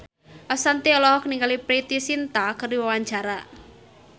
Ashanti olohok ningali Preity Zinta keur diwawancara